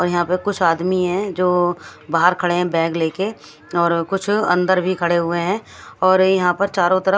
और यहां पे कुछ आदमी हैं जो बाहर खड़े हैं बैग ले के और कुछ अंदर भी खड़े हुए हैं और यहां पर चारों तरफ--